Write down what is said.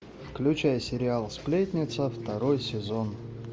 включай сериал сплетница второй сезон